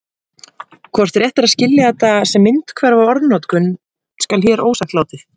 hvort rétt er að skilja þetta sem myndhverfa orðnotkun skal hér ósagt látið